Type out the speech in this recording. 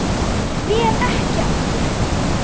Ég fer ekki aftur.